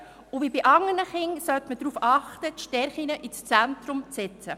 Wie bei anderen Kindern sollte man darauf achten, die Stärken ins Zentrum zu setzen.